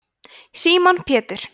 símon pétur